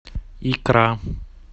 икра